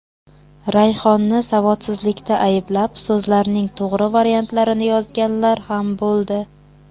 Rayhonni savodsizlikda ayblab, so‘zlarning to‘g‘ri variantini yozganlar ham bo‘ldi.